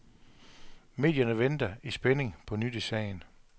Medierne venter i spænding på nyt i sagen.